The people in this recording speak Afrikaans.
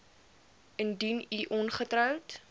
indien u ongetroud